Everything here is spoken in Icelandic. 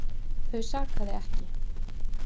Þau sakaði ekki